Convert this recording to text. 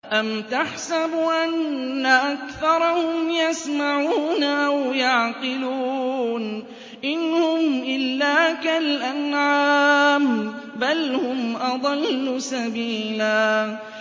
أَمْ تَحْسَبُ أَنَّ أَكْثَرَهُمْ يَسْمَعُونَ أَوْ يَعْقِلُونَ ۚ إِنْ هُمْ إِلَّا كَالْأَنْعَامِ ۖ بَلْ هُمْ أَضَلُّ سَبِيلًا